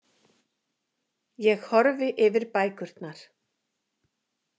Ég horfi yfir bækurnar.